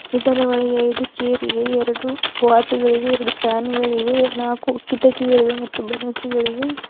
ಇದರ ಒಳಗೆ ಐದು ಚೇರಿವೆ ಎರಡು ವಾಚುಗಳಿವೆ ಎರಡು ಫ್ಯಾನುಗಳಿವೆ ನಾಲಕ್ಕು ಕಿಟಕಿಗಳಿವೆ ಮತ್ತು ಬ್ಯಾನರ್ಸ್ಗಳಿವೆ.